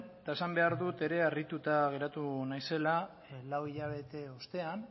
eta esan behar dut ere harrituta geratu naizela lau hilabete ostean